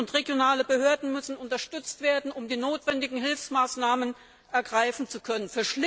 Kommunen und regionale Behörden müssen unterstützt werden, um die notwendigen Hilfsmaßnahmen ergreifen zu können.